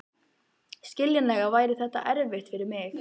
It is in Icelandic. Skiljanlega væri þetta erfitt fyrir mig.